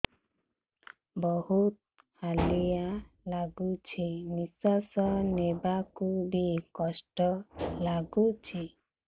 ବହୁତ୍ ହାଲିଆ ଲାଗୁଚି ନିଃଶ୍ବାସ ନେବାକୁ ଵି କଷ୍ଟ ଲାଗୁଚି